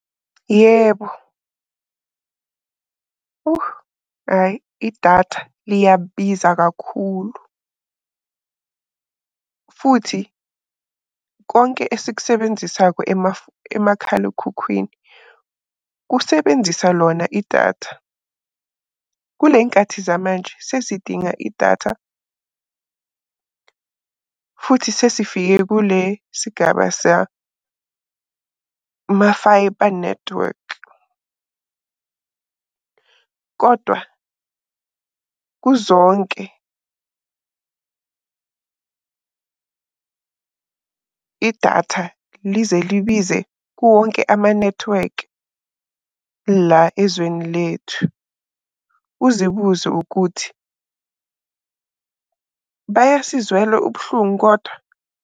Yebo. Hhayi idatha liyabiza kakhulu, futhi konke esikusebenzisayo emakhalekhukhwini kusebenzisa lona idatha. Kuley'nkathi zamanje sesidinga idatha futhi sesifike kule sigaba sama-fibre network. Kodwa kuzonke idatha lize libize kuwonke amanethiwekhi la ezweni lethu. Uzibuze ukuthi, bayasizwela ubuhlungu kodwa?